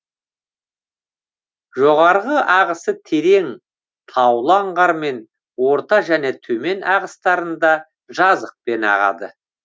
жоғарғы ағысы терең таулы аңғармен орта және төмен ағыстарында жазықпен ағады